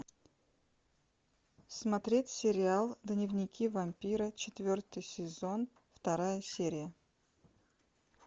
смотреть сериал дневники вампира четвертый сезон вторая серия